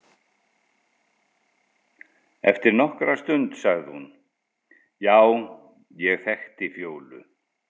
Eftir nokkra stund sagði hún: Já, ég þekkti Fjólu.